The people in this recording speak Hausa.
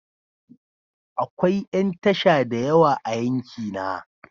Akwai yan tasha da yawa a yankina.